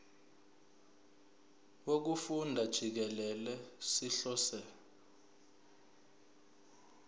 wokufunda jikelele sihlose